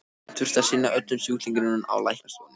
Hann þurfti að sinna öllum sjúklingunum á læknastofunni.